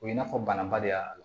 O ye i n'a fɔ banabaliya